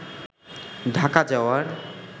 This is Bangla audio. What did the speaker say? ঢাকা যাওয়ার